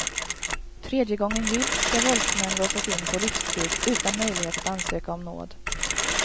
Tredje gången gillt ska våldsmän låsas in på livstid utan möjlighet att ansöka om nåd.